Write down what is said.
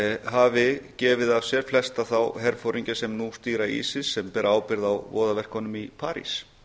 hafi gefið af sér flesta þá herforingja sem nú stýra isis sem nú bera ábyrgð á voðaverkunum í parís